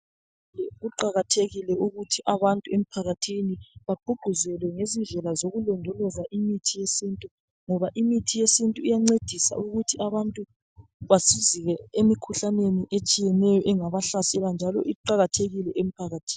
kuqakathekile ukuthi abantu emphakathini bagqugquzelwe ngezindlela zokulondoloza imithi yesintu ngoba imithi yesintu iyancedisa ukuthi abantu basizeke emikhuhlaneni etshiyeneyo engaba hlasela njalo iqakathekile emphakathini